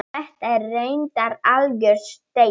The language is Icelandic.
Þetta er reyndar algjör steypa.